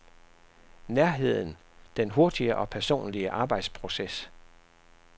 Nærheden, den hurtige og personlige arbejdsproces.